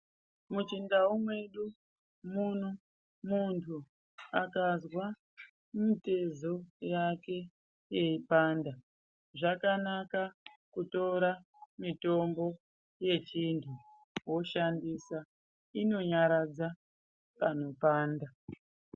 Muchindau mwedu muno, muntu akazwa mutezo yake yeipanda zvakanaka kutora mitombo yechintu, woshandisa. Inonyaradza panopanda.